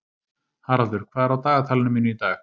Haraldur, hvað er á dagatalinu mínu í dag?